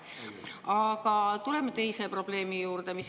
Aga tuleme teise probleemi juurde.